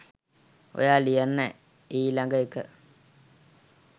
ඔයා ලියන්න ඊ ලඟ එක